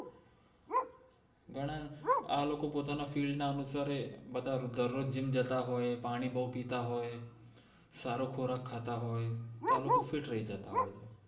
આ લોકો પોતાનિ field ના અનુસારે બધા ઘર નુ જ જિમ જતા હોએ પાણી બૌ પિતા હોએ સારુ ખુરાક ખાતા હોએ તો આ લોકો ફ઼ઈટ રૈ જતા હોએ છે